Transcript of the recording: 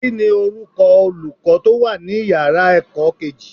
Kíni orúkọ Olùkọ́ tó wà ní ìyára ẹ̀kọ́ kejì?